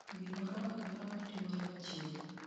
gimoro amora matimore machiegni